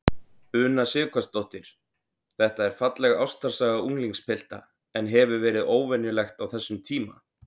Una Sighvatsdóttir: Þetta er falleg ástarsaga unglingspilta, en hefur verið óvenjulegt á þessum tíma?